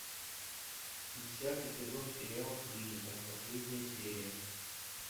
десятый сезон сериал клиника последняя серия